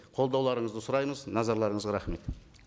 қолдауларыңызды сұраймыз назарларыңызға рахмет